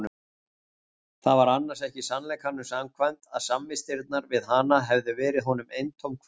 Það var annars ekki sannleikanum samkvæmt að samvistirnar við hana hefðu verið honum eintóm kvöl.